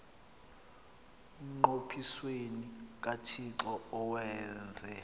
emnqophisweni kathixo awenze